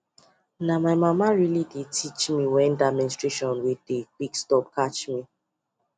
na my mama really dey teach me when that menstration wey dey quick stop catch me